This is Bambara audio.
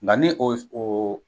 Nka ni o o